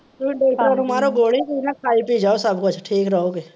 ਤੁਹੀਂ ਡਾਕਟਰਾਂ ਨੂੰ ਮਾਰੋ ਗੋਲੀ, ਤੁਹੀਂ ਨਾ ਖਾਇ ਪੀ ਜਾਓ ਸਬ ਕੁਛ ਠੀਕ ਰੋਗੇ।